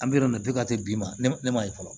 An bɛ yɔrɔ min na bi ka se bi ma ne ma ye fɔlɔ